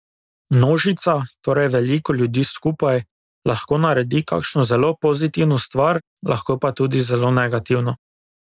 Množica, torej veliko ljudi skupaj, lahko naredi kakšno zelo pozitivno stvar, lahko pa tudi zelo negativno.